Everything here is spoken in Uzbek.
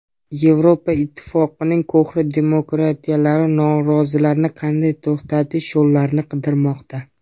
Yevropa Ittifoqining qo‘hna demokratiyalari norozilarni qanday to‘xtatish yo‘llarini qidirmoqda.